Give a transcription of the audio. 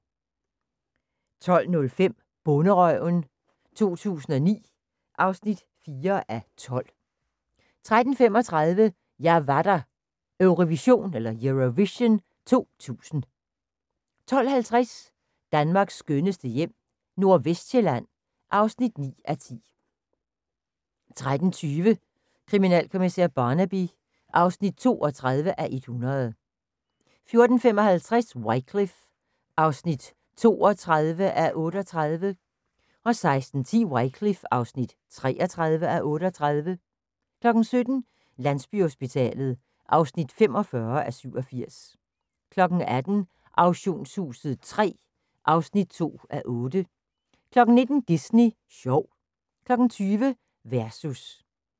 12:05: Bonderøven 2009 (4:12) 12:35: Jeg var der – Eurovision 2000 12:50: Danmarks skønneste hjem - Nordvestsjælland (9:10) 13:20: Kriminalkommissær Barnaby (32:100) 14:55: Wycliffe (32:38) 16:10: Wycliffe (33:38) 17:00: Landsbyhospitalet (45:87) 18:00: Auktionshuset III (2:8) 19:00: Disney sjov 20:00: Versus